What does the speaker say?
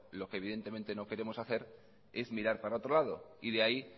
lo que evidentemente no queremos hacer es mirar para otro lado de ahí